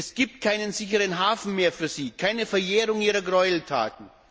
Es gibt keinen sicheren Hafen mehr für sie, keine Verjährung ihrer Gräueltaten.